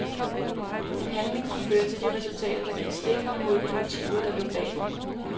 En handling kunne føre til resultater, der gik stik imod de motiver der lå bag den.